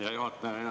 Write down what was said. Hea juhataja!